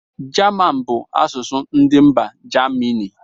German bụ asụsụ ndị mba germany